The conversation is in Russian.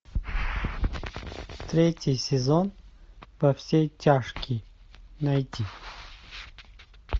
третий сезон во все тяжкие найти